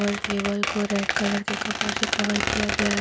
और टेबल को red colour के कपड़ों से कवर किया गया है।